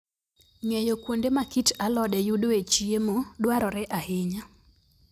Ng'eyo kuonde ma kit alode yudoe chiemo dwarore ahinya.